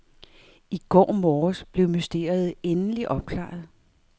I går morges blev mysteriet endelig opklaret.